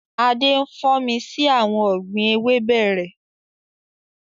Adé ń fò mí sí àwọn ọ̀gbín ewébẹ̀ rẹ